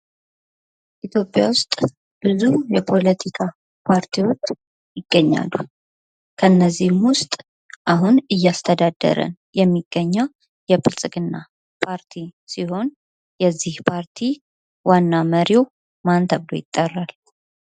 ኢትዮጵያ ውስጥ ብዙ የፖለቲካ ፓርቲዎች ይገኛሉ ። ከእነዚህም ውስጥ አሁን እያስተዳደረ የሚገኘው የብልጽግና ፓርቲ ሲሆን የዚህ ፓርቲ ዋና መሪው ማን ተብሎ ይጠራል ?